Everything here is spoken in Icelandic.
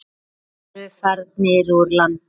Þeir eru farnir úr landi.